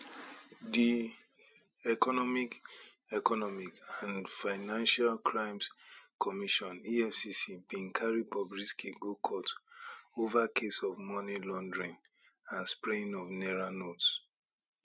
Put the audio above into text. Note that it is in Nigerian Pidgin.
di economic economic and financial crimes commission efcc bin carry bobrisky go court ova case of money laundering and spraying of naira notes